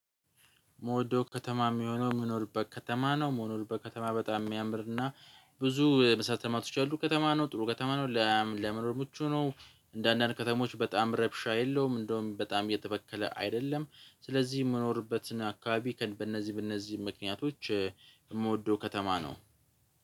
መውደው ከተማ የሚሆነው መኖርበት ከተማ ነው መኖርበት ከተማ በጣም የሚያምርና ብዙ መሰረተ ልማቶች ያሉት ከተማ ነው ጥሩ ከተማ ነው ለመኖር ምቹ ነው። እንደአንዳንድ ከተሞች በጣም ረብሻ የለውም እንደውም በጣም የተበከለ አይደለም። ስለዚህ የምኖርበትን አካባቢ በእነዚህ በእነዚህ ምክንያቶች የምወደው ከተማ ነው።